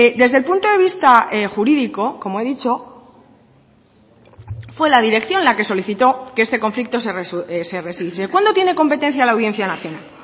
desde el punto de vista jurídico como he dicho fue la dirección la que solicitó que este conflicto se cuándo tiene competencia la audiencia nacional